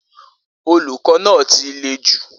Olukọ na ti le ju